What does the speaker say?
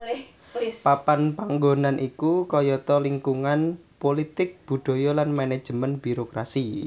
Papan panggonan iku kayata lingkungan pulitik budaya lan manajemen birokrasi